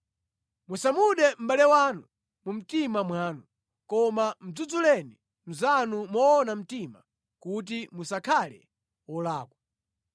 “ ‘Musamude mʼbale wanu mu mtima mwanu. Koma mudzudzuleni mnzanu moona mtima kuti musakhale wolakwa.